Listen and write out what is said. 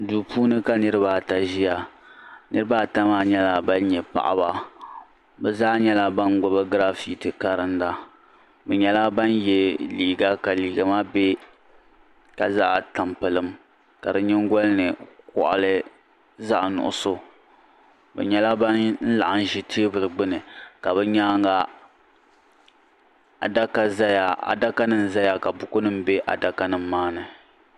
Duu puuni ka niriba ata ʒia niriba ata maa nyɛla ban nyɛ paɣaba bɛ zaa nyɛla ban gbibi giraafiti karinda bɛ nyɛla ban ye liiga ka liiga maa be ka zaɣa tampilim ka di nyingolini koɣali zaɣa nuɣuso bɛ nyɛla ban laɣim ʒi teebuli gbini ka bɛ nyaanga adakanima zaya ka bukunima maa ni.